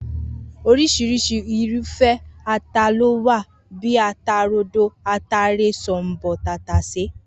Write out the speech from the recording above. Oris̩irís̩i irúfé̩ ata ló wà bíi ata rodo, ataare, s̩ò̩m̀bò̩, tàtàsé